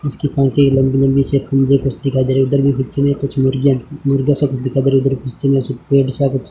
इसके पंख है लंबे लंबे से पंजे कुछ दिखाई दे रहे उधर भी बच्चे ने कुछ मुर्गियां मुर्गे सब दिखाई दे रहे उधर पेड़ सा कुछ --